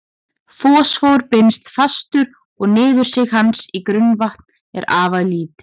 Fosfór binst fastur og niðursig hans í grunnvatn er afar lítið.